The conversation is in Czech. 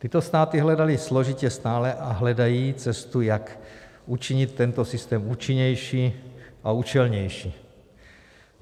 Tyto státy hledaly složitě stále a hledají cestu, jak učinit tento systém účinnější a účelnější.